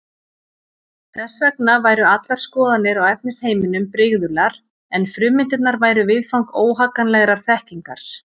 Þess vegna væru allar skoðanir á efnisheiminum brigðular en frummyndirnar væru viðfang óhagganlegrar þekkingar.